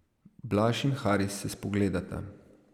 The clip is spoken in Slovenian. Blaž in Haris se spogledata.